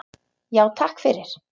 Já, takk fyrir.